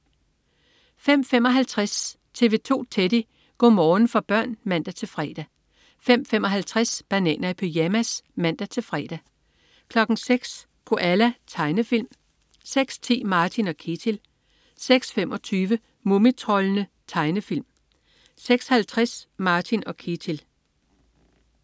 05.55 TV 2 Teddy. Go' morgen for børn (man-fre) 05.55 Bananer i pyjamas (man-fre) 06.00 Koala. Tegnefilm 06.10 Martin & Ketil 06.25 Mumitroldene. Tegnefilm 06.50 Martin & Ketil